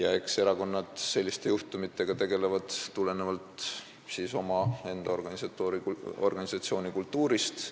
Eks erakonnad tegelevad selliste juhtumitega tulenevalt omaenda organisatsioonikultuurist.